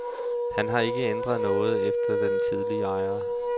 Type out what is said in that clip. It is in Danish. Han har ikke ændret noget efter den tidligere ejer.